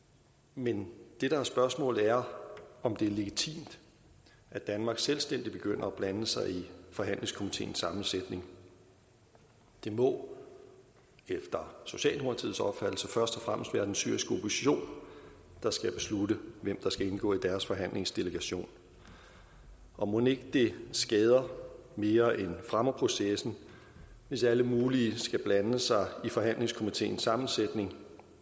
men det der er spørgsmålet er om det er legitimt at danmark selvstændigt begynder at blande sig i forhandlingskomiteens sammensætning det må efter socialdemokratiets opfattelse først og fremmest være den syriske opposition der skal beslutte hvem der skal indgå i deres forhandlingsdelegation og mon ikke det skader mere end det fremmer processen hvis alle mulige skal blande sig i forhandlingskomiteens sammensætning